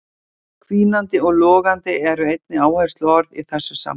Hvínandi og logandi eru einnig áhersluorð í þessu sambandi.